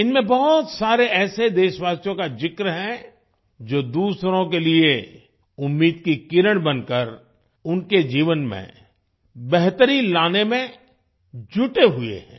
इनमें बहुत सारे ऐसे देशवासियों का जिक्र है जो दूसरों के लिए उम्मीद की किरण बनकर उनके जीवन में बेहतरी लाने में जुटे हुए हैं